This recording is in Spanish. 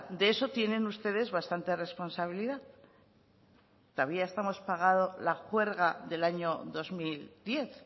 de eso tienen ustedes bastante responsabilidad todavía estamos pagando la juerga del año dos mil diez